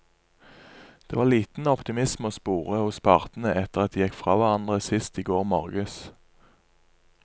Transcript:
Det var liten optimisme å spore hos partene etter at de gikk fra hverandre sist i går morges.